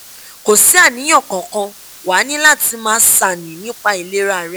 kò sí àníyàn kankan wàá ní láti máa ṣàní nípa ìlera rẹ